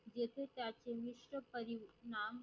येथे चारशे विस्वपरीनाम.